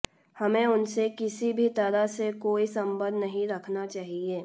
हमें उनसे किसी भी तरह से कोई संबंध नहीं रखना चाहिए